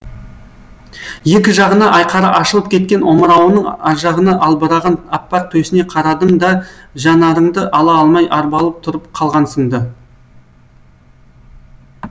екі жағына айқара ашылып кеткен омырауының аржағынан албыраған аппақ төсіне қарадың да жанарыңды ала алмай арбалып тұрып калғансың ды